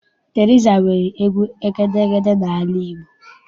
Teriza nwere egwu egedeege n'ala Igbo.